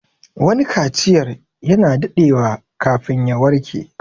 Wani kaciyar ya na daɗewa kafin ya warƙe